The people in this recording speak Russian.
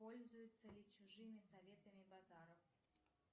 пользуется ли чужими советами базаров